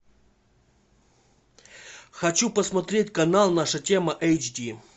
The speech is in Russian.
хочу посмотреть канал наша тема эйчди